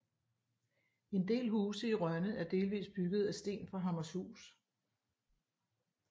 En del huse i Rønne er delvist bygget af sten fra Hammershus